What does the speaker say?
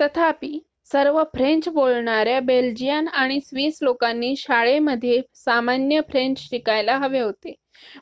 तथापि सर्व फ्रेंच बोलणाऱ्या बेल्जियन आणि स्विस लोकांनी शाळेमध्ये सामान्य फ्रेंच शिकायला हवे होते